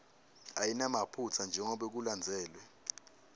ayinamaphutsa njengobe kulandzelwe